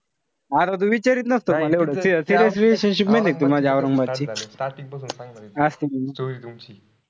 अरे तू विचारीत नसतो मल एवढं seriously ती माझी औरंगाबादची.